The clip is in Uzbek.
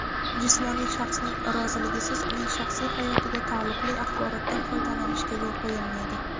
jismoniy shaxsning roziligisiz uning shaxsiy hayotiga taalluqli axborotdan foydalanishga yo‘l qo‘yilmaydi.